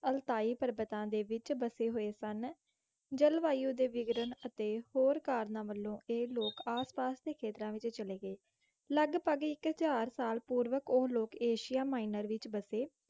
Altai ਪਰਬਤਾਂ ਦੇ ਵਿੱਚ ਬਸੇ ਹੋਏ ਸਨ। ਜਲਵਾਯੂ ਦੇ ਵਿਗੜਨ ਅਤੇ ਹੋਰ ਕਾਰਨਾਂ ਵੱਲੋਂ ਇਹ ਲੋਕ ਆਸਪਾਸ ਦੇ ਖੇਤਰਾਂ ਵਿੱਚ ਚਲੇ ਗਏ। ਲਗਭਗ ਇੱਕ ਹਜ਼ਾਰ ਸਾਲ ਪੂਰਵਕ ਉਹ ਲੋਕ ਏਸ਼ੀਆ ਮਾਇਨਰ ਵਿੱਚ ਬਸੇ।